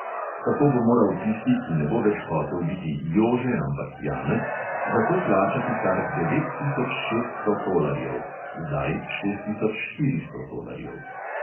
Tako bo moral tisti, ki ne bo več hotel biti jože, ampak janez, za to plačati kar devet tisoč šeststo tolarjev (zdaj šest tisoč štiristo tolarjev).